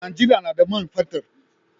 Najeriya na da man fetir